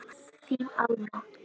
Þín Alma.